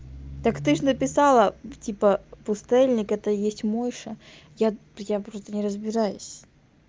так ты же написала типа пустэльник это есть мойша я я просто не разбираюсь